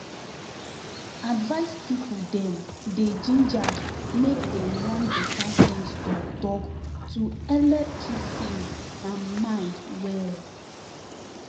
advice people dem dey gingered make dem run better sense talktalk to helep keep sense and mind well